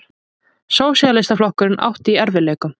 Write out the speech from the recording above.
Sósíalistaflokkurinn átti í erfiðleikum.